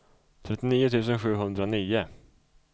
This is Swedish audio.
trettionio tusen sjuhundranio